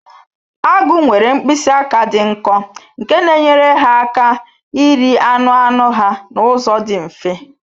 Agụ nwere mkpịsị aka dị nkọ nke na-enyere ha aka iri anụ anụ ha n'ụzọ dị mfe